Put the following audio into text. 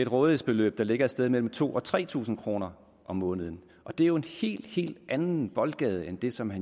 rådighedsbeløb der ligger et sted mellem to tusind og tre tusind kroner om måneden og det er jo en helt helt anden boldgade end det som